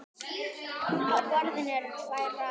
Á borðinu eru tvær raðir.